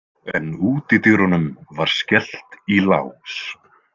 En útidyrunum var skellt í lás.